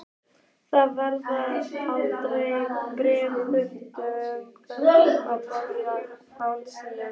Það vantaði aldrei bréfþurrkurnar á borði hans.